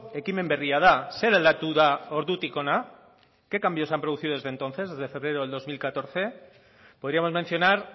ekimen berria da zer aldatu da ordutik hona qué cambios se han producido desde entonces desde febrero de dos mil catorce podríamos mencionar